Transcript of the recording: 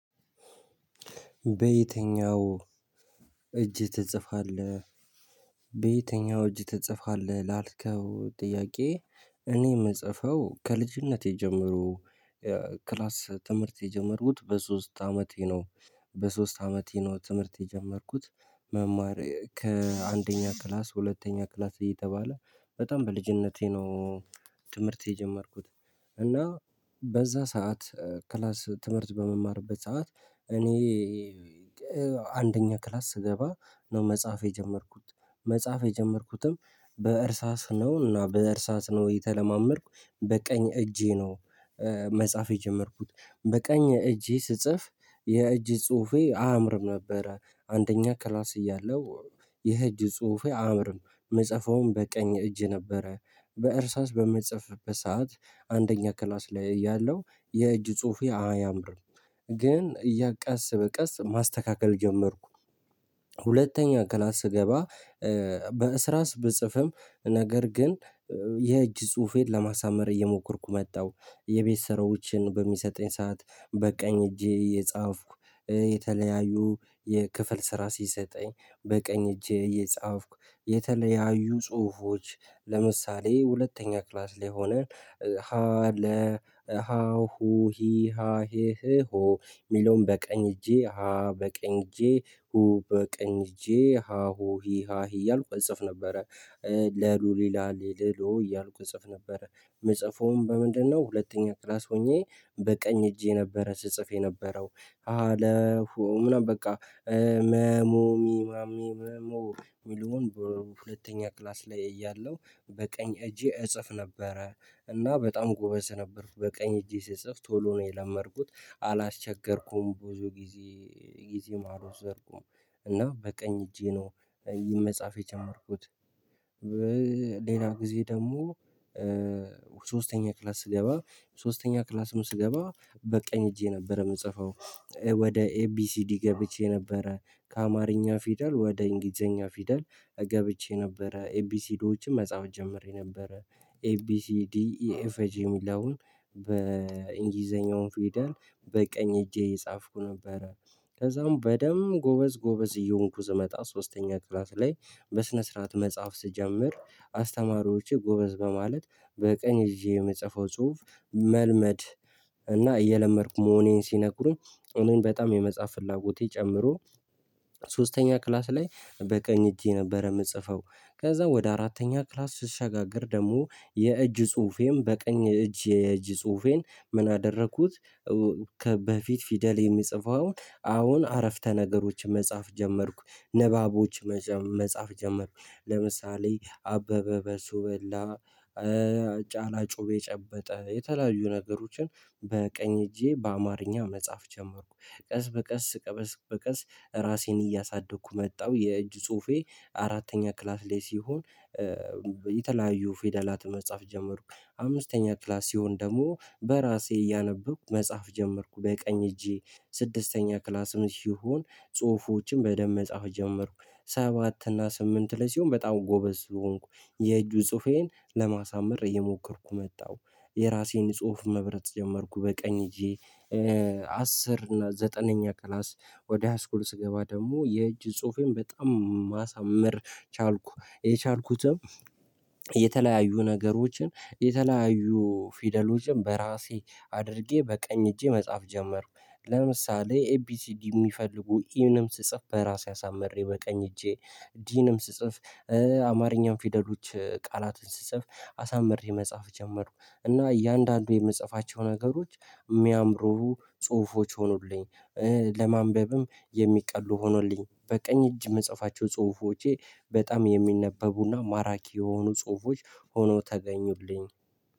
በየትኛው እጅ ትጽፋለህ? በየትኛው እጅ ትጽፋለ ላልከው ጥያቄ እኔ ምጽፈው ከልጅነቴ ጀምሮ። ክላስ ትምርት የጀመርኩት በሶስት አመቴ ነው። በሶስት አመቴ ነው ትምርት የጀመርኩት። መማር ከአንደኛ ክላስ ሁለተኛ ክላስ እየተባለ በጣም በልጅነቴ ነው። ትምርት የጀመርኩት እና በዛ ሰዓት ክላስ ትምርት በምማርበት ሰዓት እኔ አንደኛ ክላስ ስገባ ነው መጻፍ የጀመርኩት መጻፍ የጀመርኩትም በእርሳስ ነው እና በእርሳስ ነው የተለማመድኩ በቀኝ እጄ ነው። መጻፍ የጀመርኩት በቀኝ እጄ ስጽፍ የእጅ ጽሁፌ አያምርም ነበረ አንደኛ ክላስ እያለው የህጅ ጽሁፌ አምርም ምጽፈውም በቀኝ እጅ ነበረ። በእርሳስ በምጽፍበት ሰዓት አንደኛ ክላስ ላይ እያለው የእጅ ጽሁፌ አያምርም ግን ቀስ በቀስ ማስተካከል ጀመርኩ። ሁለተኛ ክላስ ስገባ በእስራስ ብጽፍም ነገር ግን የእጅ ጽሁፌን ለማሳመር እየሞከርኩ መጣው። የቤት ስራዎችን በሚሰጠኝ ሰዓት በቀኝ እጄ እየጻፍኩ የተለያዩ የክፍል ስራ ሲሰጠኝ በቀኝ እጄ እየጻፍኩ የተለያዩ ጽሁፎች ለምሳሌ ሁለተኛ ክላስ ላይ ሆነን ሀ ለ ሀ ሁ ሂ ሀ ሄ ህ ሆ ሚለውን በቀኝ እጄ ሀ በቀኝ እጄ ሁ በቀኝ እጄ ሀ ሁ ሂ ሀ ሄ እያልኩ እጽፍ ነበረ። ለ ሉ ሊ ላ ሌ ል ሎ እያልኩ እጽፍ ነበረ። ምጽፈውም በምንድነው ሁለተኛ ክላስ ሆኜ በቀኝ እጄ ነበረ ስጽፍ የነበረው ሀ ለ ሁ ምናምን በቃ። መ ሙ ሚ ማ ሜ ም ሞ ሚለውን ሁለተኛ ክላስ ለይ እያለው በቀኝ እጄ እጽፍ ነበረ። እና በጣም ጎበዝ ነበርኩ በቀኝ እጄ ስጽፍ ቶሎ ነው የለመድኩት አላስቸገርኩም ብዙ ጊዜ አልወሰድኩም። እና በቀኝ እጄ ነው ይህን መጻፍ የጀመርኩት። ጊዜ ደሞ ሶስተኛ ክላስ ስገባ ሶስተኛ ክላስም ስገባ በቀኝ እጄ ነበረ ምጽፈው ወደ ኤቢሲዲ ገብቼ ነበረ ከአማርኛ ፊደል ወደ እንግሊዘኛ ፊደል። ገብቼ ነበረ ኤቢሲዶችም መጻፍ ጀምሬ ነበረ ኤ ቢ ሲ ዲ ኢ ኤፍ ጂ ሚለውን በኢንጊልዘኛው ፊደል በቀኝ እጄ እየጻፍኩ ነበረ። ከዛም በደንብ ጎበዝ ጎበዝ እየሆንኩ ስመጣ ሶስተኛ ክላስ ላይ በስነ ስርዓት መጻፍ ስጀምር አስተማሪዎቼ ጎበዝ በማለት በቀኝ ይዤ የምጽፈው ጽሁፍ መልመድ እና እየለመድኩ መሆኔን ሲነግሩኝ እኔም በጣም የመጻፍ ፍላጎቴ ጨምሮ። ሶስተኛ ክላስ ለይ በቀኝ እጄ ነበረ ምጽፈው ከዛ ወደ አራተኛ ክላስ ስሸጋገር ደሞ የእጅ ጽሁፌም በቀኝ እጅ የእጅ ጽሁፌን ምን አደረኩት? ከበፊት ፊደል የሚጽፈውን አሁን አረፍተ ነገሮች መጻፍ ጀመርኩ ንባቦች መጻፍ ጀመርኩ ለምሳሌ አበበ በሶ በላ። ጫላ ጩቤ ጨበጠ የተለያዩ ነገሮችን በቀኝ እጄ በአማርኛ መጻፍ ጀመርኩ። ቀስ በቀስ ቀስ በቀስ ራሴን እያሳደኩ መጣው የእጅ ጽሁፌ አራተኛ ክላስ ላይ ሲሆን። የተለያዩ ፌደላት መጻፍ ጀመርኩ አምስተኛ ክላስ ሲሆን ደሞ በራሴ እያነበብኩ መጻፍ ጀመርኩ በቀኝ እጄ ስድስተኛ ክላስም ሲሆን ጽሁፎችን በደንብ መጻፍ ጀመርኩ ሰባት እና ስምንት ላይ ሲሆን በጣም ጎበዝ ሆንኩ የእጁ ጽሁፌን ለማሳመር እየሞከርኩ መጣው። የራሴን ጽሁፍ መብረት ጀመርኩ በቀኝ እጄ። አስር እና ዘጠነኛ ክላስ ወደ ሃስኩል ስገባ ደሞ የእጅ ጽሁፌን በጣም ማሳመር ቻልኩ። የቻልኩትም የተለያዩ ነገሮችን የተለያዩ ፊደሎችን በራሴ አድርጌ በቀኝ እጄ መጻፍ ጀመርኩ ለምሳሌ ኤ ቢ ሲ ዲ ሚፈልጉ ኢንም ስጽፍ በራሴ አሳምሬ በቀኝ እጄ። ዲንም ስጽፍ አማርኛን ፊደሎች ቃላትን ስጽፍ አሳምሬ መጻፍ ጀመርኩ እና እያንዳንዱ የምጽፋቸው ነገሮች ሚያምሩ ጽሁፎች ሆኑልኝ። ለማንበብም የሚቀሉ ሆኑልኝ በቀኝ እጅ ምጽፋቸው ጽሁፎቼ በጣም የሚነበቡና ማራኪ የሆኑ ጽሁፎች ሆነው ተገኙልኝ